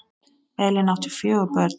Elín átti fjögur börn.